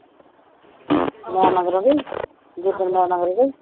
ਮੈਂ ਮਗਰੋਂ ਗਈ, ਜਿ-ਦਿਨ ਮੈਂ ਮਗਰੋਂ ਗਈ